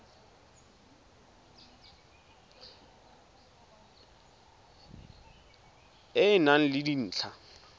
e e nang le dintlha